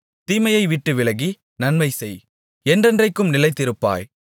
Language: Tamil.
தீமையை விட்டு விலகி நன்மை செய் என்றென்றைக்கும் நிலைத்திருப்பாய்